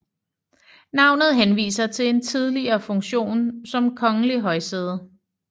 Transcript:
Navnet henviser til en tidligere funktion som kongelig højsæde